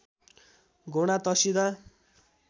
घोडा तर्सिँदा